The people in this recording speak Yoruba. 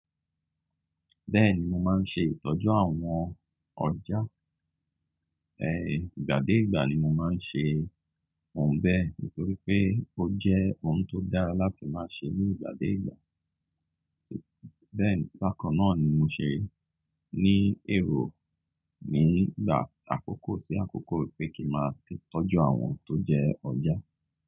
Bẹ́ẹ̀ni, mo máa ń ṣe ìtọ́jú àwọn ọjà. Ìgbà dé ìgbà ni mo máa ń ṣe òun bẹ́ẹ̀ nítorí pé ó jẹ́ ohun tó dára láti máa ṣe ní ìgbà dé ìgbà. Bẹ́ẹ̀ni, báka náà ni mo ṣe ní èrò nígbà àkókó sí àkókó pé kí n máa ṣe ìtọ́jú àwọn tó jẹ́ ọjà.